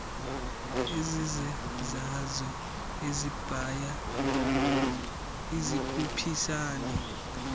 ezizezazo ezibya zikhuphisane